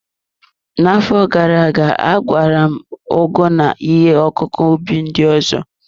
N'afọ gara aga, agwara m ugu na ihe ọkụkụ ubi ndị ọzọ.